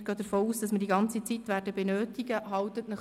Wir gehen davon aus, dass wir die ganze Zeit benötigen werden.